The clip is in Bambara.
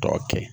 Tɔ kɛ